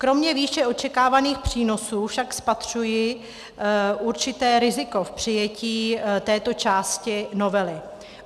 Kromě výše očekávaných přínosů však spatřuji určité riziko v přijetí této části novely.